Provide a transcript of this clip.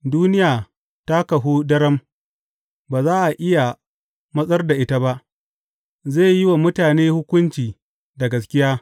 Duniya ta kahu daram, ba za a iya matsar da ita ba; zai yi wa mutane hukunci da gaskiya.